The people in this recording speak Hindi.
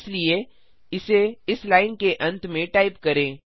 इसलिए इसे इस लाइन के अंत में टाइप करें